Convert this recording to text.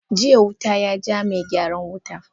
jiya wuta ya ja mai gyaran wuta.